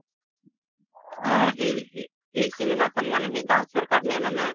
অ সেই সেই cinema খন মানে সেই dance ৰ কাৰনে মানে